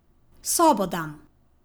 Sobo dam.